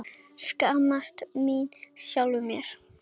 Skammast mín fyrir sjálfa mig.